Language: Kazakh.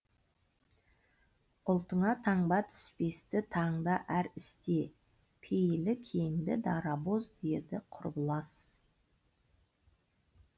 ұлтыңа таңба түспесті таңда әр істе пейілі кеңді дарабоз дерді құрбылас